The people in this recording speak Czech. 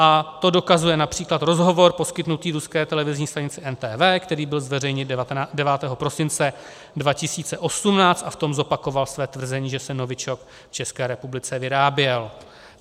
A to dokazuje například rozhovor poskytnutý ruské televizní stanici NTV, který byl zveřejněn 9. prosince 2018, a v tom zopakoval své tvrzení, že se novičok v České republice vyráběl.